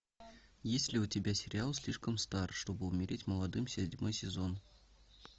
есть ли у тебя сериал слишком стар чтобы умереть молодым седьмой сезон